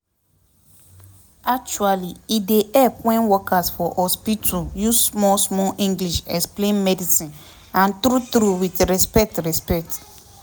actually e dey help wen workers for hospitu use small small english explain medicine and true true with respect respect